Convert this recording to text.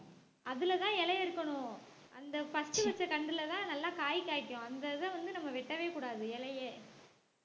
அதுலதான் இலை அறுக்கணும் அந்த first வச்ச கன்றுலதான் நல்லா காய் காய்க்கும் அந்த இத வந்து நம்ம வெட்டவே கூடாது இலையே